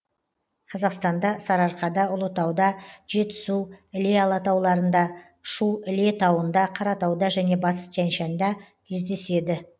қазақстанда сарыарқада ұлытауда жетісу іле алатауларында шу іле тауында қаратауда және батыс тянь шаньда кездеседі